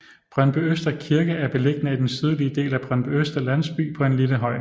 Brøndbyøster Kirke er beliggende i den sydlige del af Brøndbyøster landsby på en lille høj